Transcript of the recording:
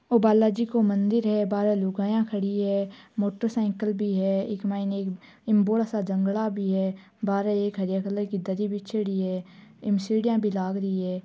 ओ बालाजी को मंदिर है बाहरे लुगाईयां खड़ी है मोटर साइकिल भी है एक मायने एक इम बोला सारा जंगला भी है बाहरे एक हरिया कलर की दरी बिच्छेडी है इमें सीढिया भी लाग रही है।